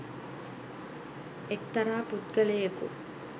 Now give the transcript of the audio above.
එක්තරා පුද්ගලයෙකු